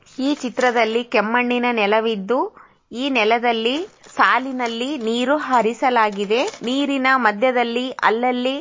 ಈ ಚಿತ್ರದಲ್ಲಿ ಕೆಮ್ಮಣ್ಣಿನ ನೆಲವಿದ್ದು ಈ ನೆಲದಲ್ಲಿ ಸಾಲಿನಲ್ಲಿ ನೀರು ಹರಿಸಲಾಗಿದೆ ನೀರಿನ ಮಧ್ಯದಲ್ಲಿ ಅಲ್ಲಲ್ಲಿ --